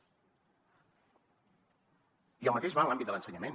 i el mateix va en l’àmbit de l’ensenyament